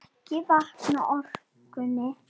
Ekki vantaði orkuna.